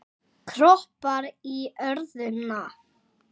Kroppar í örðuna.